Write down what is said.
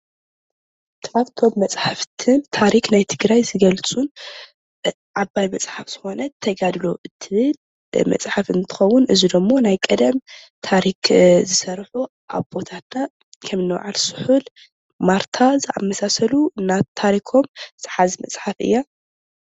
ካብቶም መፅሓፍትን ታሪክ ናይ ትግራይ ዝገልፁን ዓባይ መፅሓፍ ዝኮነት ተጋድሎ እትብል መፅሓፍ እንትከዉን እዚ ድማ ናይ ቀደም ታሪክ ዝሰርሑ ኣቦታትና ከም እኒ በዓል ስሑል፣ ማርታ ዘመሳሰሉ ታሪኮም ዝሓዘት መፅሓፍ እያ።